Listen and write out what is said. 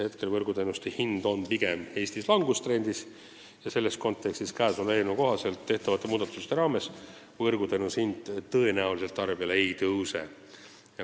Võrguteenuste hind on Eestis langustrendis ja nii võib arvata, et eelnõu kohaselt tehtavate muudatuste mõjul võrguteenuse hind tarbijale ei tõuse.